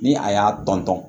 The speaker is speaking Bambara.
Ni a y'a tɔn tɔn